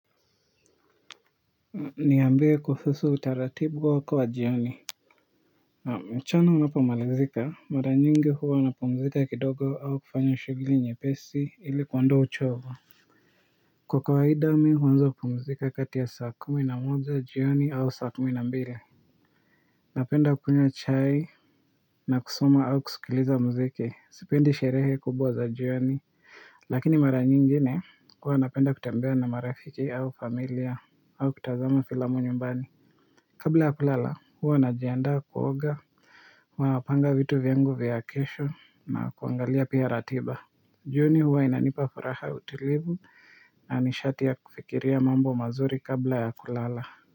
Niambie kuhusu utaratibu wako wa jioni mchana unapo malizika maranyingi huwa napumzika kidogo au kufanya shughli nye pesi ili kuondoa uchovu kwa kawaidami huanza kupumzika kati ya saa kumi na moja jioni au saa kumi na mbile napenda kunywa chai na kusoma au kuskiliza mziki sipendi sherehe kubwa za jioni lakini maranyingine huwa napenda kutembea na marafiki au familia au kutazama filamu nyumbani kabla ya kulala huwa najiandaa kuoga huwa napanga vitu vyangu vya kesho na kuangalia pia ratiba jioni huwa inanipa furaha utulivu na nishati ya kufikiria mambo mazuri kabla ya kulala.